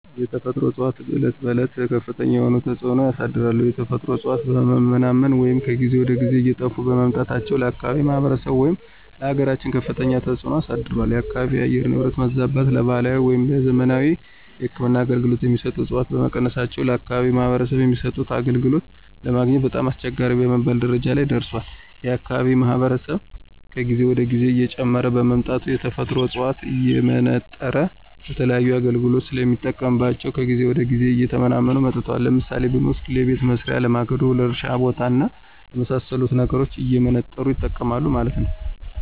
የተፈጥሮ እፅዋቶች በዕለት ተዕለት ከፍተኛ የሆነ ተፅዕኖ አሳድሯል። የተፈጥሮ እፅዋቶች በመመናመናቸው ወይም ከጊዜ ወደ ጊዜ እየጠፉ በመምጣታቸው ለአካባቢው ማህበረሰብ ወይም ለአገራችን ከፍተኛ ተፅዕኖ አሳድሯል። የአካባቢው የአየር ንብረት መዛባትን ለባህላዊ ወይም ለዘመናዊ የህክምና አገልገሎት የሚሰጡ ዕፅዋቶች በመቀነሳቸው ለአከባቢው ማህበረሰብ የሚሰጡት አገልግሎት ለማግኘት በጣም አስቸጋሪ በመባል ደረጃ ላይ ደርሷል። የአካባቢው ማህበረሰብ ከጊዜ ወደ ጊዜ እየጨመረ በመምጣቱ የተፈጥሮ ዕፅዋቶችን እየመነጠረ ለተለያዩ አገልግሎት ስለሚጠቀምባቸው ከጊዜ ወደ ጊዜ እየተመናመኑ መጥተዋል። ለምሳሌ ብንወስድ ለቤት መሥሪያ፣ ለማገዶ፣ ለእርሻ ቦታ እና ለመሣሰሉት ነገሮች እየመነጠሩ ይጠቀማሉ ማለት ነው።